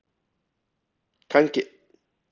Kannski myndi hún eignast litklæði!